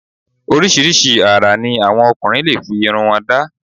Oríṣiríṣi ara ní àwọn ọkùnrin lè fi irun wọn da